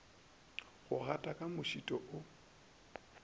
go gata ka mošito o